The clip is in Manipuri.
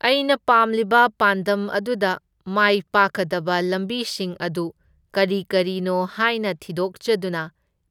ꯑꯩꯅ ꯄꯥꯝꯂꯤꯕ ꯄꯥꯟꯗꯝ ꯑꯗꯨꯗ ꯃꯥꯏ ꯄꯥꯛꯀꯗꯕ ꯂꯝꯕꯤꯁꯤꯡ ꯑꯗꯨ ꯀꯔꯤ ꯀꯔꯤꯅꯣ ꯍꯥꯏꯅ ꯊꯤꯗꯣꯛꯆꯗꯨꯅ